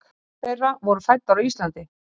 Fjórar þeirra voru fæddar á Íslandi.